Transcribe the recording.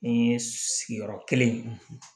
Ni sigiyɔrɔ kelen